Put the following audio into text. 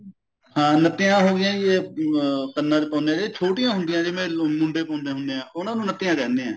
ਹਾਂ ਨੱਤੀਆ ਹੋ ਗਈਆਂ ਜੀ ਇਹ ਅਮ ਕੰਨਾ ਚ ਪਾਉਂਦੇ ਆ ਜਿਹੜੀ ਛੋਟਿਆ ਹੁੰਦੀਆ ਨੇ ਜਿਵੇਂ ਮੁੰਡੇ ਮੁੰਡੇ ਹੁੰਦੇ ਐ ਉਹਨਾਂ ਨੂੰ ਨੱਤੀਆਂ ਕਹਿੰਦੇ ਏ